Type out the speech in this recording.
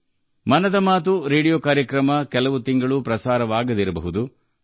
'Mann Ki Baat' radio ಕಾರ್ಯಕ್ರಮಕ್ಕೆ ಕೆಲವು ತಿಂಗಳ ತನಕ ವಿರಾಮ ನೀಡಿರಬಹುದು